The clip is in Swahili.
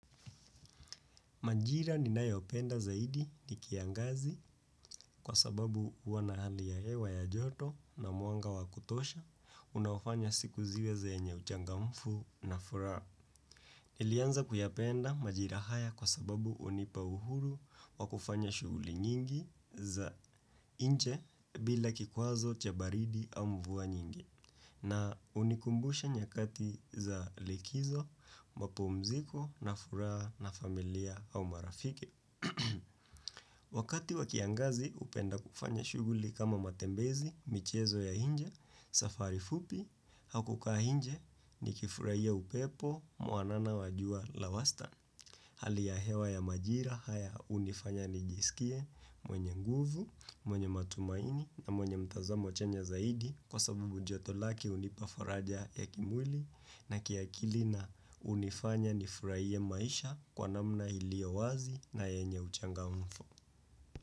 Majira ninayo penda zaidi ni kiangazi kwa sababu huwa na hali ya hewa ya joto na mwanga wa kutosha unaofanya siku ziwe zenye uchangamfu na furaa. Nilianza kuyapenda majira haya kwa sababu hunipa uhuru wa kufanya shughuli nyingi za inje bila kikwazo chabaridi au mvua nyingi na hunikumbusha nyakati za likizo, mapumziko na furaha na familia au marafiki. Wakati wakiangazi hupenda kufanya shughuli kama matembezi, michezo ya inje, safari fupi, au kukaa inje ni kifurahia upepo mwanana wajua la wastan. Hali ya hewa ya majira haya hunifanya nijisikie mwenye nguvu, mwenye matumaini na mwenye mtazamo chanya zaidi kwa sababu joto lake hunipa faraja ya kimwili na kiakili na hunifanya nifurahie maisha kwa namna iliyo wazi na yenye uchangamufu.